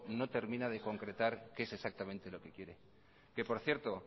no termina de concretar qué es exactamente lo que quiere que por cierto